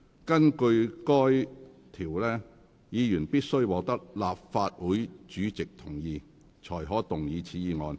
根據該條，議員必須獲得立法會主席同意後，才可動議此議案。